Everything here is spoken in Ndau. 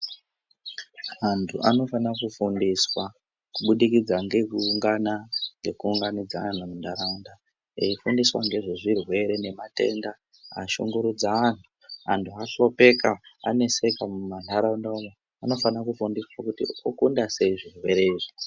Antu anofana kufundiswa ,kubudikidza ngekuungana, ngekuunganidza anhu muntaraunda, eifundiswa ngezvezvirwere nematenda, ashungurudza anhu. Antu ahlupheka aneseka mumantharaunda umwo. Anofana kufundiswa okunda sei zvirwere izvi.